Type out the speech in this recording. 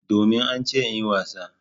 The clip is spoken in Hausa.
Domin an ce in yi wasa.